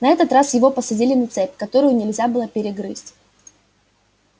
на этот раз его посадили на цепь которую нельзя было перегрызть